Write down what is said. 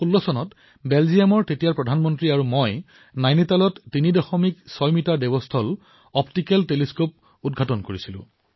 ২০১৬ চনত বেলজিয়ামৰ তৎকালীন প্ৰধানমন্ত্ৰী আৰু মই নৈনিতালত ৩৬ মিটাৰ দেৱস্থল অপ্টিকেল দুৰবীক্ষণৰ মুকলি কৰিছিলো